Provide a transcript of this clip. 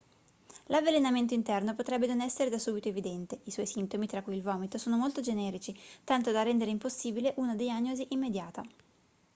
l'avvelenamento interno potrebbe non essere da subito evidente i suoi sintomi tra cui il vomito sono molto generici tanto da rendere impossibile una diagnosi immediata